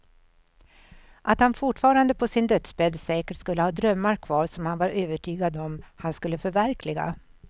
Att han fortfarande på sin dödsbädd säkert skulle ha drömmar kvar som han var övertygad om att han skulle förverkliga.